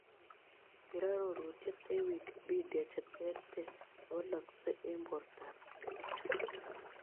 Ker arorutiet en wikipedia cheterter chewalaksek eng' bortoab chito